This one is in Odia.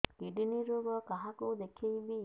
କିଡ଼ନୀ ରୋଗ କାହାକୁ ଦେଖେଇବି